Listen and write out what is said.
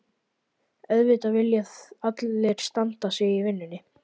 Auðvitað vilja allir standa sig í vinnunni.